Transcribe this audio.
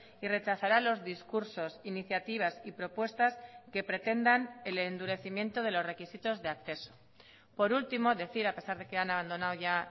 y rechazará los discursos iniciativas y propuestas que pretendan el endurecimiento de los requisitos de acceso por último decir a pesar de que han abandonado ya